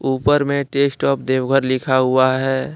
ऊपर में taste of Deoghar लिखा हुआ है।